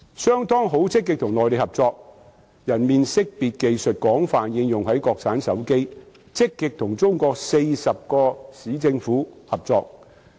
商湯致力與內地合作，其人臉識別技術廣泛應用在國產手機，並積極與中國40個市政府合作。